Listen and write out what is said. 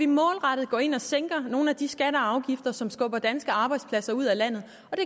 målrettet går ind og sænker nogle af de skatter og afgifter som skubber danske arbejdspladser ud af landet